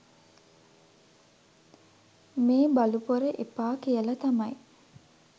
මේ බලුපොර එපා කියලා තමයි